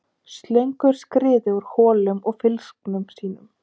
Slöngur skriðu úr holum og fylgsnum sínum.